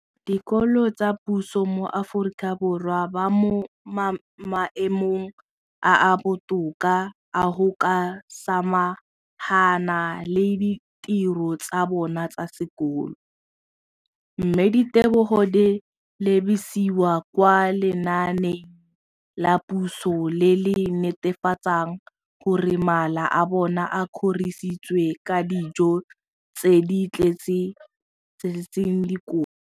dikolo tsa puso mo Aforika Borwa ba mo maemong a a botoka a go ka samagana le ditiro tsa bona tsa sekolo, mme ditebogo di lebisiwa kwa lenaaneng la puso le le netefatsang gore mala a bona a kgorisitswe ka dijo tse di tletseng dikotla.